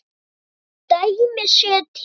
Svo dæmi séu tekin.